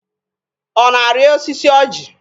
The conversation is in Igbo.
Ọ na-arị osisi ọjị?